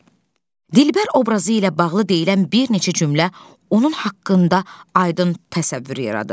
Dilbər obrazı ilə bağlı deyilən bir neçə cümlə onun haqqında aydın təsəvvür yaradır.